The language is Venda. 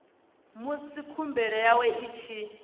musi khumbelo yawe i tshi